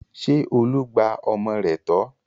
Ṣé Olú gba ọmọ rẹ̀ tọ́?